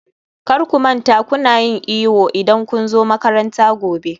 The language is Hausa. kar ku manta kuna yin iyo idan kun zo makaranta gobe